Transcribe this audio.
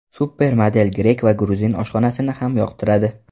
Supermodel grek va gruzin oshxonasini ham yoqtiradi.